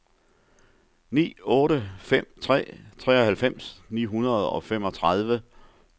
ni otte fem tre treoghalvfems ni hundrede og femogtredive